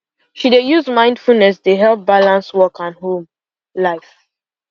she dey use mindfulness dey help balance work and home life